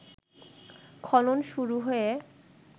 খনন শুরু হয়ে